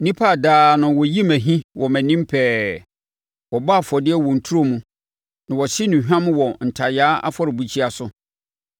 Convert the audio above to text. Nnipa a daa no wɔyi me ahi wɔ mʼanim pɛɛ. Wɔbɔ afɔdeɛ wɔ nturo mu na wɔhye nnuhwam wɔ ntayaa afɔrebukyia so;